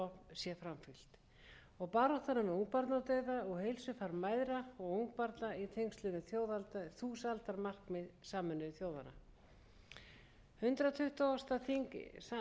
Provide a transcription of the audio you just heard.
ungbarnadauða og heilsufar mæðra og ungbarna í tengslum við þúsaldarmarkmið sameinuðu þjóðanna hundrað tuttugasta